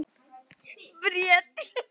Bríet